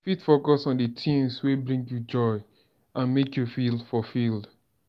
you fit focus on di tings wey bring you joy and make you feel fulfilled.